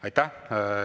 Aitäh!